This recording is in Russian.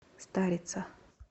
старица